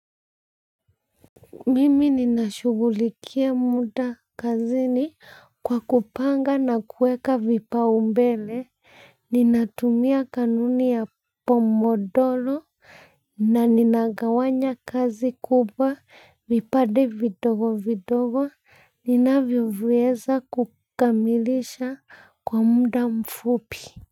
Mimi ninashughulikia muda kazini kwa kupanga na kuweka vipaumbele ninatumia kanuni ya pomodoro na ninagawanya kazi kubwa vipade vidogo vidogo, ninavyo viweza kukamilisha kwa muda mfupi.